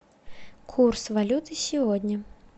курс валюты сегодня